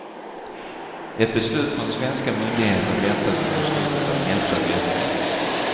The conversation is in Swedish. Ett beslut från svenska myndigheter väntas under slutet av nästa vecka.